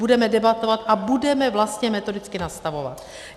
Budeme debatovat a budeme vlastně metodicky nastavovat.